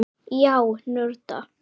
Já, nörda.